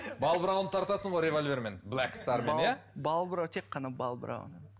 балбырауын тартасың ғой револьвермен блэк стармен иә тек қана балбырауын